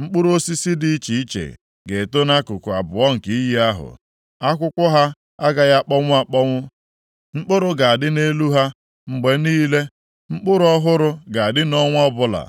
Mkpụrụ osisi dị iche iche ga-eto nʼakụkụ abụọ nke iyi ahụ. Akwụkwọ ha agaghị akpọnwụ akpọnwụ, mkpụrụ ga-adị nʼelu ha mgbe niile. Mkpụrụ ọhụrụ ga-adị nʼọnwa ọbụla,